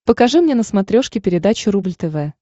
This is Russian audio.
покажи мне на смотрешке передачу рубль тв